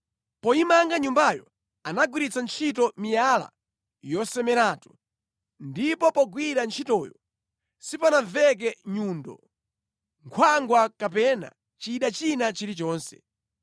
Poyimanga Nyumbayo, anagwiritsa ntchito miyala yosemeratu, ndipo pogwira ntchitoyo sipanamveke nyundo, nkhwangwa kapena chida china chilichonse.